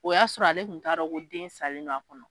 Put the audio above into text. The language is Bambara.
O y'a sɔrɔ ale kun ta dɔn ko den salen don a kɔnɔ.